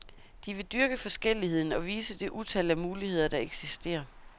De vil dyrke forskelligheden og vise det utal af muligheder der eksisterer.